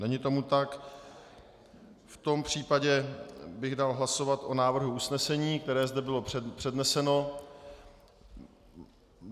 Není tomu tak, v tom případě bych dal hlasovat o návrhu usnesení, které zde bylo předneseno.